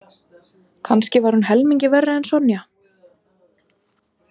Kannski var hún helmingi verri en Sonja.